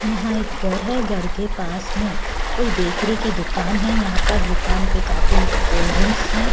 यहां एक गर है गर के पास में कोई बेकरी की दुकान है यहां पर दुकान पे काफी कोल्ड ड्रिंक्स है।